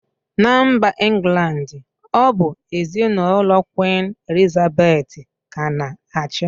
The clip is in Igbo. Na mba England ọ bụ ezinụlọ kwin Elizabeth ka na-achị